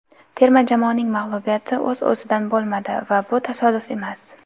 Terma jamoaning mag‘lubiyati o‘z-o‘ziidan bo‘lmadi va bu tasodif emas.